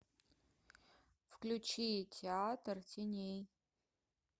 включи театр теней